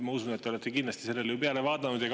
Ma usun, et te olete kindlasti sellele peale vaadanud.